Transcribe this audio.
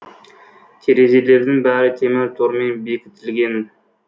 терезелердің бәрі темір тормен бекітілген